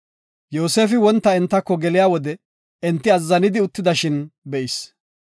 Yoosefi wonta entako geliya wode enti azzanidi uttidashin be7is.